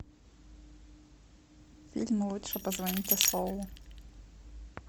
фильм лучше позвоните солу